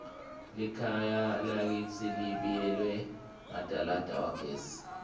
likhaya lakitsi libiyelwe ngadalada wagesi